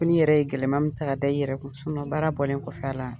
Fo n'i yɛrɛ ye gɛlɛma min taa ka da i yɛrɛ kun baara bɔlen kɔfɛ a la